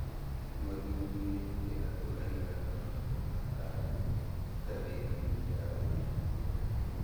Mathuthurĩtie andũ aiganona na matarĩirie ngathĩti-inĩ ya ũgima wa mwĩrĩ